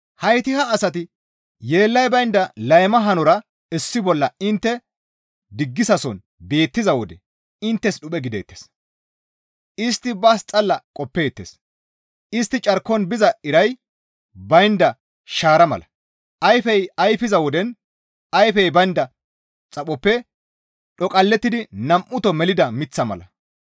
Hayti ha asati yeellay baynda layma hanora issi bolla intte diggisason beettiza wode inttes dhuphe gideettes; istti baas xalla qoppeettes; istti carkon biza iray baynda shaara mala; ayfey ayfiza woden ayfey baynda xaphoppe dhoqallettidi nam7uto melida miththa mala.